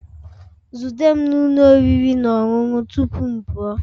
Zute m na ụlọ oriri na ọṅụṅụ tupu m pụọ